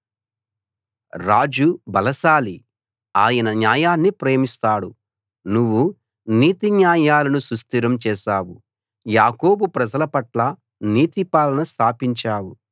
రాజు బలశాలి ఆయన న్యాయాన్ని ప్రేమిస్తాడు నువ్వు నీతి న్యాయాలను సుస్థిరం చేశావు యాకోబు ప్రజల పట్ల నీతి పాలన స్థాపించావు